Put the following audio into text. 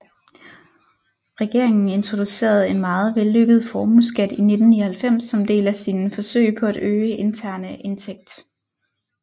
Regeringen introducerede en meget vellykket formueskat i 1999 som del af sine forsøg på at øge interne indtægt